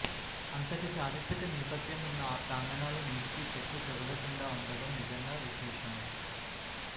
అంతటి చారిత్రక నేపథ్యం ఉన్న ఆ ప్రాంగణాలు నేటికీ చెక్కుచెదరకుండా ఉండటం నిజంగా విశేషమే